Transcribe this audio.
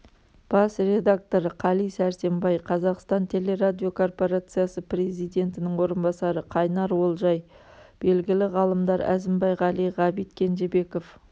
бас редакторы қали сәрсенбай қазақстан телерадио корпорациясы президентінің орынбасары қайнар олжай белгілі ғалымдар әзімбай ғали ғабит кенжебеков